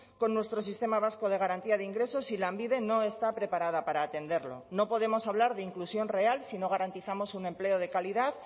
con nuestro sistema vasco de garantía de ingresos si lanbide no está preparada para atenderlo no podemos hablar de inclusión real si no garantizamos un empleo de calidad